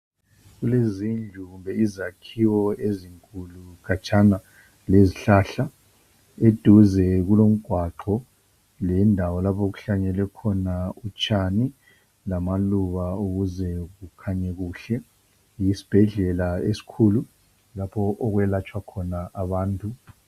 Kulezindlu kumbe izakhiwo ezinkulu khatshana lazihlahla. Eduze kulomgwaqo, lendawo lapho okuhlanyelwe khona utshani lamaluba, Ukuze kukhanye kuhle. Yisibhedlela esikhulu, lapho, okwelatshwa khona abantu.